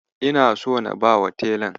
Ina so na bawa telan.